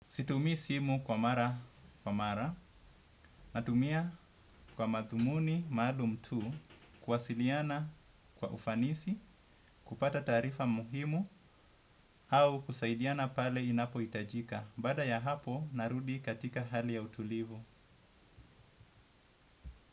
Situmii simu kwa mara, kwa mara. Natumia kwa mathumuni maalum tu kuwasiliana kwa ufanisi, kupata taarifa muhimu au kusaidiana pale inapohitajika. Baada ya hapo narudi katika hali ya utulivu.